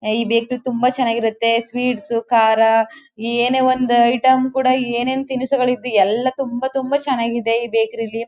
ಈ ಬೇಕರಿ ತುಂಬಾ ಚೆನ್ನಾಗಿರುತ್ತೆ ಸ್ವೀಟ್ಸ್ ಕಾರ ಏನೆ ಒಂದು ಐಟಂ ಕೂಡ ಏನ್ ಏನ್ ತಿನಸಗಳು ಎಲ್ಲ ತುಂಬಾ ತುಂಬಾ ಚನ್ನಾಗಿದೆ ಈ ಬೇಕರಿ ಲಿ.